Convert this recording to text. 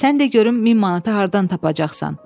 Sən de görüm 1000 manatı hardan tapacaqsan?